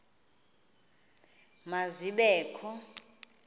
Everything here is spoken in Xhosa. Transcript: ma zibe kho